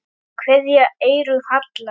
Kveðja, Eyrún Halla.